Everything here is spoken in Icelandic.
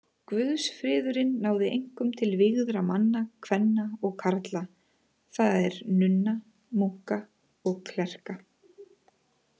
Guðsfriðurinn náði einkum til vígðra manna, kvenna og karla, það er nunna, munka og klerka.